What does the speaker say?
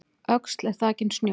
Öxl er þakin snjó